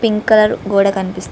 pink colour గోడ కనిపిస్ --